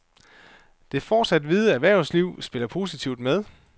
Det fortsat hvide erhvervsliv spiller positivt med.